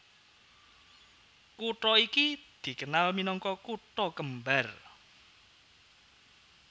Kutha iki dikenal minangka Kutha kembar